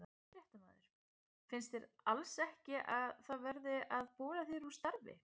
Fréttamaður: Finnst þér alls ekki að það sé verið að bola þér úr starfi?